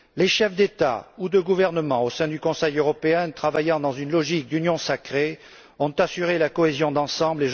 Les chefs d'État ou de gouvernement, au sein du Conseil européen, ont travaillé dans une logique d'union sacrée et ont assuré la cohésion d'ensemble.